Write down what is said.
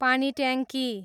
पानीट्याङ्की